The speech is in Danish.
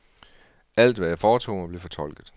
Alt, hvad jeg foretog mig, blev fortolket.